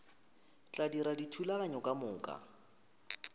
tla dira dithulaganyo ka moka